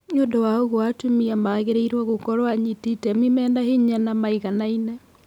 Nĩũndũ wa ũguo atumia magĩrĩirwo gũkorwo anyiti itemi mena hinya na maiganaine.